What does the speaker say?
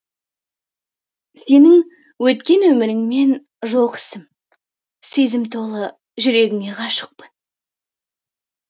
сенің өткен өміріңмен жоқ ісім сезім толы жүрегіне ғашықпын